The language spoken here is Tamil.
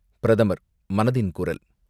பிரதமர் மனதின் குரல்